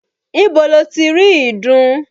Ibo lo ti rí ìdun?